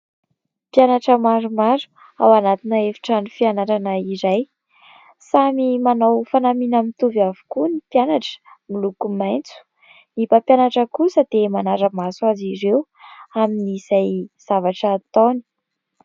Mpianatra maromaro ao anatina efitrano fianarana iray. Samy manao fanamiana mitovy avokoa ny mpianatra, miloko maitso. Ny mpampianatra kosa dia manara-maso azy ireo amin'izay zavatra ataony.